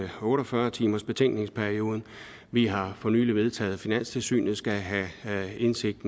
otte og fyrre timersbetænkningsperioden vi har for nylig vedtaget at finanstilsynet skal have indsigt